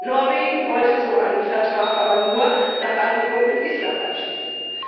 Norwegen wollte so einen Vertrag aber nur nach Einigung mit Island abschließen.